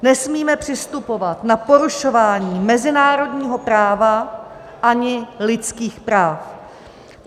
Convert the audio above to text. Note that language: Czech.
Nesmíme přistupovat na porušování mezinárodního práva ani lidských práv.